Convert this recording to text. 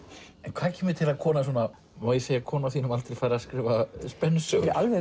hvað kemur til að kona svona má ég segja kona á þínum aldri fer að skrifa spennusögur